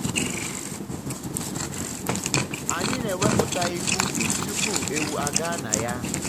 anyị na-ewepụta ihe ubi tupu ewu a gaa na ya.